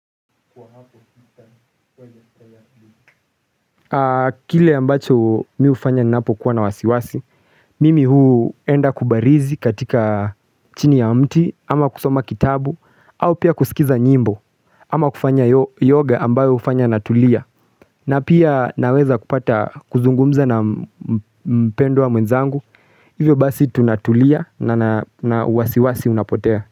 Kwa hapo sita kwa hiya traya hili Kile ambacho mi hufanya napo kuwa na wasiwasi Mimi huu enda kubarizi katika chini ya mti ama kusoma kitabu au pia kusikiza nyimbo ama kufanya yoga ambayo hufanya natulia na pia naweza kupata kuzungumza na mpendwa mwenzangu. Hivyo basi tunatulia na na wasiwasi unapotea.